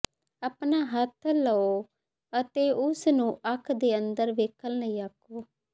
ਆਪਣਾ ਹੱਥ ਲਓ ਅਤੇ ਉਸ ਨੂੰ ਅੱਖ ਦੇ ਅੰਦਰ ਵੇਖਣ ਲਈ ਆਖੋ